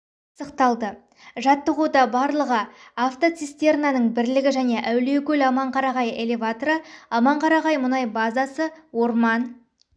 пысықталды жаттығуда барлығы автоцистернаның бірлігі және әулиекөл аманқарағай элеваторы аманқарағай мұнай базасы орман